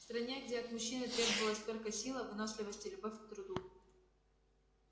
в стране где от мужчины требовалась только сила выносливость и любовь к труду